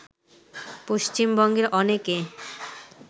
পশ্চিমবঙ্গের অনেকে